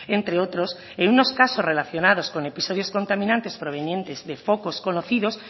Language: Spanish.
entre otros en unos casos relacionados con episodios contaminantes provenientes de focos conocidos